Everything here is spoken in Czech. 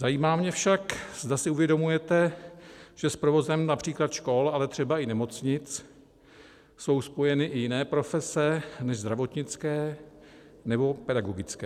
Zajímá mě však, zda si uvědomujete, že s provozem například škol, ale třeba i nemocnic jsou spojeny i jiné profese než zdravotnické nebo pedagogické.